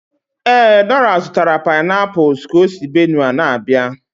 Ee, Dora zụtara painapuls ka o si Benue na-abịa